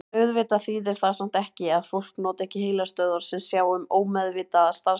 Auðvitað þýðir það samt ekki að fólk noti ekki heilastöðvar sem sjá um ómeðvitaða starfsemi.